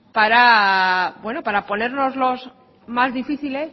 para ponérnoslo